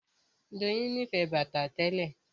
Doyin nífẹ̀ẹ́ bàtà tẹ́lẹ̀